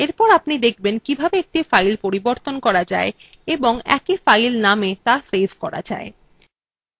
এরপর আপনি দেখবেন কিভাবে একটি file পরিবর্তন করা যায় এবং একই file namea ত়া সেভ করা যায়